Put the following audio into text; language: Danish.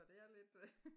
Så det er lidt øh